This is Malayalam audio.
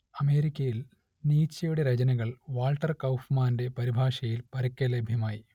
അമേരിക്കയിൽ നീച്ചയുടെ രചനകൾ വാൾട്ടർ കൗഫ്മാന്റെ പരിഭാഷയിൽ പരക്കെ ലഭ്യമായി